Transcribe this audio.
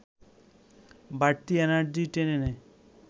বাড়তি এনার্জি টেনে নেয়